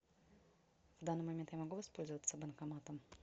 в данный момент я могу воспользоваться банкоматом